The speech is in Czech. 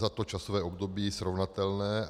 Za to časové období srovnatelné.